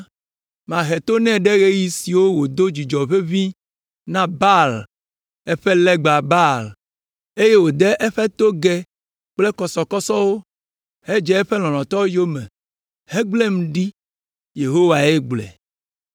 Mahe to nɛ ɖe ɣeyiɣi siwo wòdo dzudzɔ ʋeʋĩ na Baalwo, eƒe legba Baal, eye wòde eƒe togɛ kple kɔsɔkɔsɔwo, hedze eƒe lɔlɔ̃tɔwo yome, hegblẽm ɖi. Yehowae gblɔe.